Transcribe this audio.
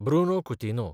Bruno Coutinho